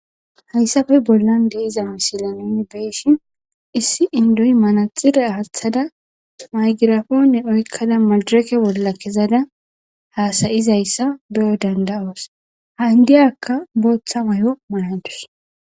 Hayssafe bollan deeiza misilanini beeshin issi indoyi manaxire aathada maygirafoone oykkada madireke bolla kezada haasayizayssa beyo danda7oos haindiyakka booththa mayo maanadus.